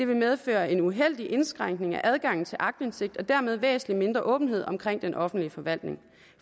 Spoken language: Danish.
vil medføre en uheldig indskrænkning af adgangen til aktindsigt og dermed væsentlig mindre åbenhed omkring den offentlige forvaltning